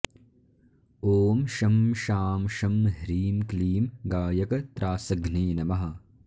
ॐ शं शां षं ह्रीं क्लीं गायकत्रासघ्ने नमः